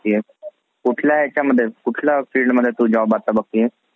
कुठल्या ह्याच्यामध्ये कुठल्या fieldमध्ये तू job आता बघतीयेस?